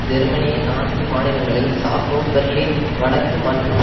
ஜெர்மனியின் நான்கு மாநிலங்களில் சாக்சோனி பெர்லின் வடக்கு மற்றும்